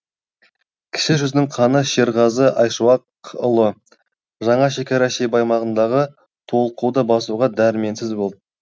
кіші жүздің ханы шерғазы айшуақұлы жаңа шекара шебі аймағындағы толқуды басуға дәрменсіз болды